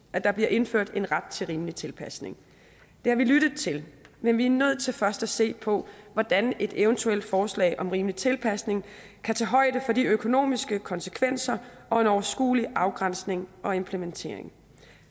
at der bliver indført en ret til rimelig tilpasning det har vi lyttet til men vi er nødt til først at se på hvordan et eventuelt forslag om rimelig tilpasning kan tage højde for de økonomiske konsekvenser og en overskuelig afgrænsning og implementering